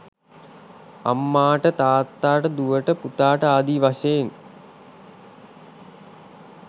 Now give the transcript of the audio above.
අම්මාට තාත්තාට දුවට පුතාට ආදී වශයෙන්